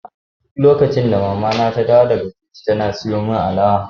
Duk lokacin da mamana ta dawo daga coci tana sayo min alawa.